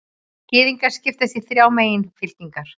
Gyðingar skipast í þrjár meginfylkingar.